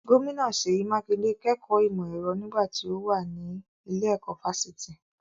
Gómìnà Seyi Makinde kẹ́kọ̀ọ́ ìmọ̀ ẹ̀rọ nígbà tí ó mà ní ilé-ẹ̀kọ́ fásitì.